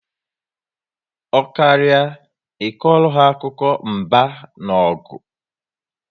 Ọ karịa I kọrọ ha akụkọ mba na ọgụ